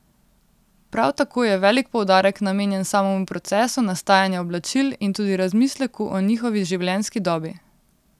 Prav tako je velik poudarek namenjen samemu procesu nastajanja oblačil in tudi razmisleku o njihovi življenjski dobi.